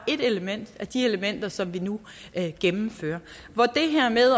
ét element af de elementer som vi nu gennemfører det her med